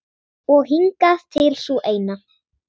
Og hingað til sú eina.